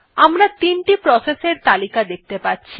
আমরা ৩ টি প্রসেস এর তালিকা দেখতে পাচ্ছি